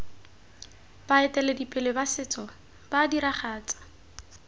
baeteledipele ba setso ba diragatsa